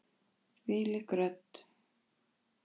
Þvílík rödd!